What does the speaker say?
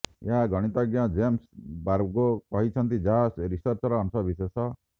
ଏହା ଗଣିତଜ୍ଞ ଜେମସ୍ ବାର୍ଗୋ କହିଛନ୍ତି ଯାହା ରିସର୍ଚ୍ଚର ଅଂଶ ବିଶେଷ